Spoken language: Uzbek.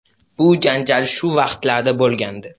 Bu janjal shu vaqtlarda bo‘lgandi.